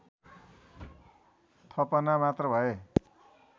थपना मात्र भए